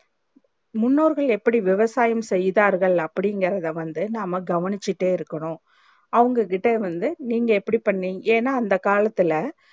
முன்னோர்கள் எப்டி விவசாயம் செய்தார்கள் அப்டி இன்க்ரதே நாம வந்து கவனிச்சிகிட்டே இருக்கணும் அவுங்க கிட்ட இருந்து நீங்க எப்டி பண்ணுவி ஏன்னா அந்த காலத்துல